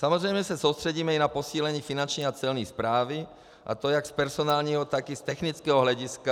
Samozřejmě se soustředíme i na posílení Finanční a Celní správy, a to jak z personálního, tak i z technického hlediska.